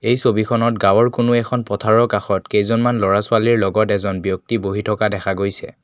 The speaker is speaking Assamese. এই ছবিখনত গাঁওৰ কোনো এখন পথাৰৰ কাষত কেইজনমান ল'ৰা-ছোৱালীৰ লগত এজন ব্যক্তি বহি থকা দেখা গৈছে।